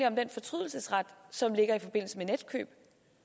om den fortrydelsesret som der er i forbindelse med netkøb